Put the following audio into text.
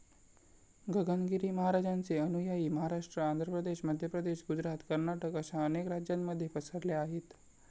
गगनगिरी महाराजांचे अनुयायी महाराष्ट्र, आंध्रप्रदेश, मध्यप्रदेश, गुजरात, कर्नाटक अशा अनेक राज्यांमध्ये पसरले आहेत.